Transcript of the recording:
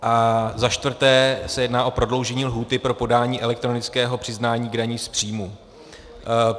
A za čtvrté se jedná o prodloužení lhůty pro podání elektronického přiznání k dani z příjmu.